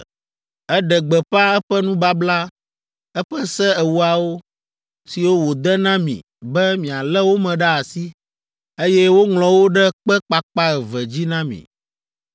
Eɖe gbeƒã eƒe nubabla, eƒe Se Ewoawo, siwo wòde na mi be mialé wo me ɖe asi, eye woŋlɔ wo ɖe kpe kpakpa eve dzi na mi.